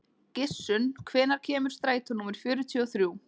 Gissunn, hvenær kemur strætó númer fjörutíu og þrjú?